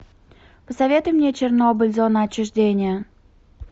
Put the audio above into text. посоветуй мне чернобыль зона отчуждения